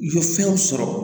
I ye fɛnw sɔrɔ